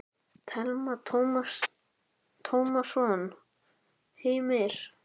Telma Tómasson: Heimir?